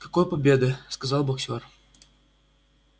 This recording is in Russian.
какой победы сказал боксёр